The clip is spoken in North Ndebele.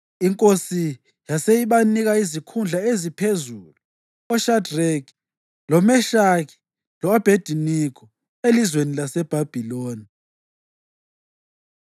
Inkosi yase ibanika izikhundla eziphezulu oShadreki, loMeshaki lo-Abhediniko elizweni laseBhabhiloni.